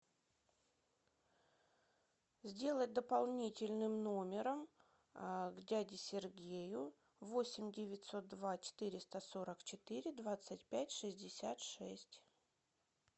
сделай дополнительным номером к дяде сергею восемь девятьсот два четыреста сорок четыре двадцать пять шестьдесят шесть